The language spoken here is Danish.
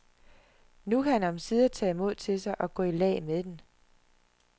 Nu kan han omsider tage mod til sig og gå i lag med den.